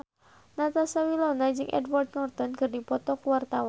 Natasha Wilona jeung Edward Norton keur dipoto ku wartawan